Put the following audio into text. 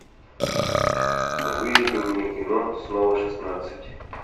выведи мне кино снова шестнадцать